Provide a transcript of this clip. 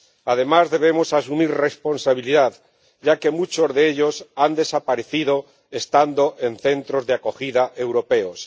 Además, debemos asumir responsabilidad, ya que muchos de ellos han desaparecido estando en centros de acogida europeos.